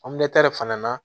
fana na